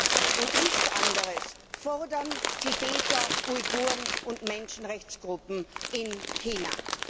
Das und nichts anderes fordern Tibeter, Uiguren und Menschenrechtsgruppen in China.